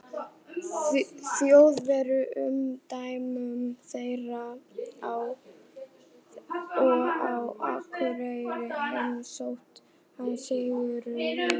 Þjóðverja í umdæmum þeirra, og á Akureyri heimsótti hann Sigurð